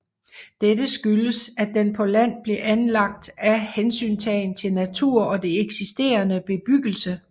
Dette skyldes at den på land blev anlagt af hensyntagen til natur og det eksisterende bebyggelse